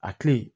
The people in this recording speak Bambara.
A kilen